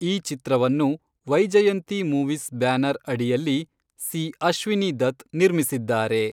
ಈ ಚಿತ್ರವನ್ನು Vyjayanthi movies banner ಅಡಿಯಲ್ಲಿ ಸಿ. ಅಶ್ವಿನಿ ದತ್ ನಿರ್ಮಿಸಿದ್ದಾರೆ.